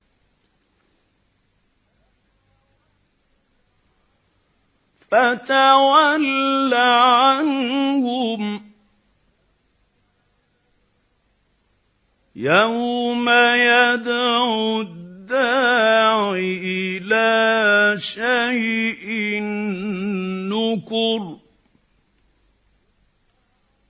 فَتَوَلَّ عَنْهُمْ ۘ يَوْمَ يَدْعُ الدَّاعِ إِلَىٰ شَيْءٍ نُّكُرٍ